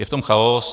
Je v tom chaos.